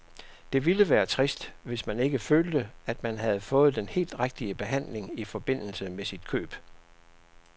Det ville være trist, hvis man ikke følte, at man havde fået den helt rigtige behandling i forbindelse med sit køb.